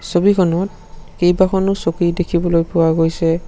ছবিখনত কেইবাখনো চকী দেখিবলৈ পোৱা গৈছে।